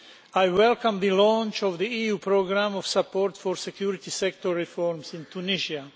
I welcome the launch of the EU programme of support for security sector reforms in Tunisia.